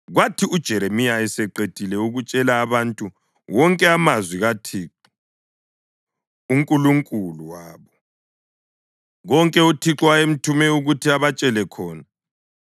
Kwathi uJeremiya eseqedile ukutshela abantu wonke amazwi kaThixo uNkulunkulu wabo, konke uThixo ayemthume ukuthi abatshele khona,